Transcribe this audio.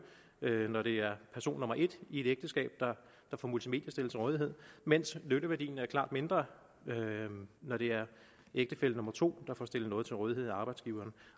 nytte når det er person nummer et i et ægteskab der får multimedier stillet til rådighed mens nytteværdien er klart mindre når det er ægtefælle nummer to der får stillet noget til rådighed af arbejdsgiveren